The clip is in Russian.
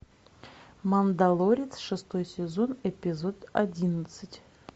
мандалорец шестой сезон эпизод одиннадцать